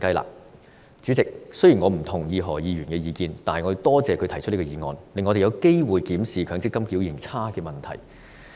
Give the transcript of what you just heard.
代理主席，雖然我不認同何議員的意見，但我亦感謝他提出這項議案，令我們有機會檢視強積金表現差的問題。